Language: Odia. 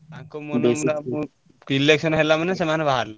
ତାଙ୍କ ମନ election ହେଲା ମାନେ ସେମାନେ ବାହାରିଲେ।